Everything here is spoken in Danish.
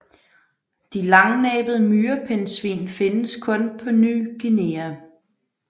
De langnæbede myrepindsvin findes kun på Ny Guinea